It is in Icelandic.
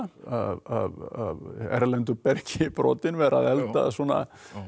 af erlendu bergi brotinn vera að elda svona